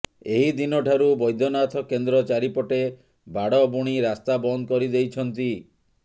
ଏହି ଦିନ ଠାରୁ ବ୘ଦନାଥ କେନ୍ଦ୍ର ଚାରିପଟେ ବାଡ଼ ବୁଣି ରାସ୍ତା ବନ୍ଦ କରି ଦେଇଛନ୍ତି